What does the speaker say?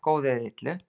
með góðu eða illu